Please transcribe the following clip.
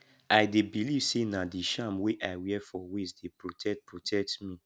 i dey believe sey na di charm wey i wear for waist dey protect protect me